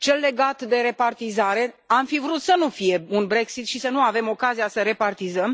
Cel legat de repartizare am fi vrut să nu fie un Brexit și să nu avem ocazia să repartizăm.